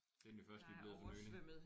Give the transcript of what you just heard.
Det er den jo først lige blevet for nylig